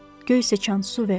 Göy sıçan su ver.